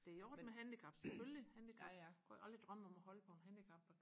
det er i orden med handicap selvfølgelig handicap jeg kunne aldrig drømme om at holde på en handicap